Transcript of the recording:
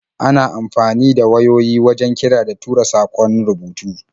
Ana amfani da wayoyi wajen kira da tura saƙon rubutu.